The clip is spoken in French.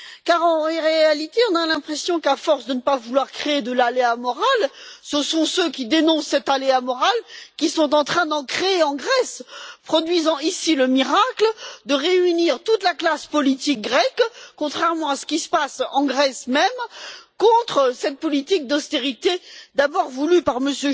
Car, en réalité, nous avons l'impression qu'à force de ne pas vouloir créer d'aléa moral, ce sont ceux qui dénoncent cet aléa moral qui sont en train d'en créer en Grèce, produisant ici le miracle de réunir toute la classe politique grecque, contrairement à ce qui se passe dans le pays, contre cette politique d'austérité d'abord voulue par M.